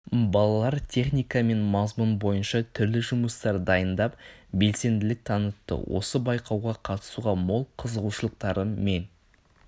балалар техника және мазмұн бойынша түрлі жұмыстар дайындап белсенділік танытты осы байқауға қатысуға мол қызығушылықтары мен